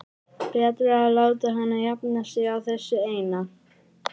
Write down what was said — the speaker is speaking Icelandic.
Betra að láta hana jafna sig á þessu eina.